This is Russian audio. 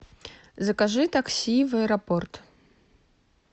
закажи такси в аэропорт